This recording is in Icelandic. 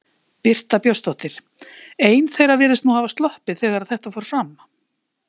Birta Björnsdóttir: Ein þeirra virðist nú hafa sloppið þegar að þetta fór fram?